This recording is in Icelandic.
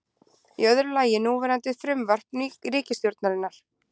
Í öðru lagi núverandi frumvarp ríkisstjórnarinnar